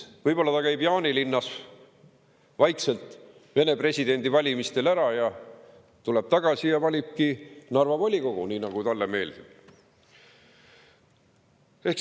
Võib-olla käib ta Jaanilinnas vaikselt Vene presidendivalimistel ära, tuleb tagasi ja valibki Narva volikogu, nii nagu talle meeldib.